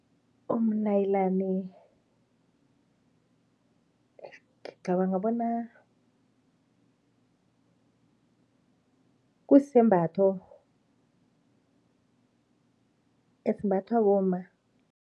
Umnayilani ngicabanga bona kusisembatho esimbathwa bomma.